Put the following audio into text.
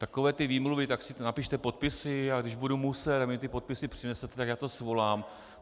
Takové ty výmluvy, tak si napište podpisy, a když budu muset, tak mi ty podpisy přinesete, tak já to svolám.